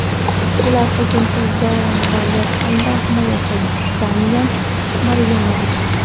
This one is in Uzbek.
Bular hujumchi Zoran Balyak hamda himoyachi Damyan Maryanovich.